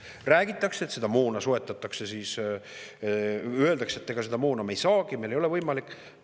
Räägitakse, et moona soetatakse, või öeldakse, et seda moona me ei saagi, meil ei ole see võimalik.